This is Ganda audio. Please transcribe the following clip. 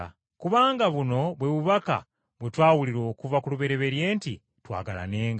Kubanga buno bwe bubaka bwe twawulira okuva ku lubereberye nti twagalanenga,